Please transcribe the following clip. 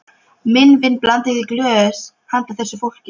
Minn vin blandaði í glös handa þessu fólki.